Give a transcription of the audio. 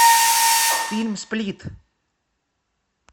фильм сплит